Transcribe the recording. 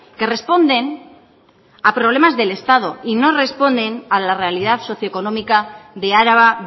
que responden a problemas del estado y no responden a la realidad socioeconómica de araba